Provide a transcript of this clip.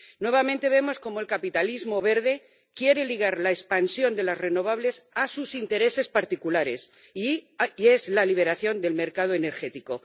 Nuevamente vemos cómo el capitalismo verde quiere ligar la expansión de las renovables a sus intereses particulares, la liberación del mercado energético